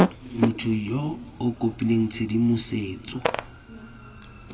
motho yo o kopileng tshedimosetso